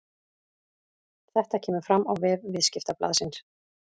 Þetta kemur fram á vef Viðskiptablaðsins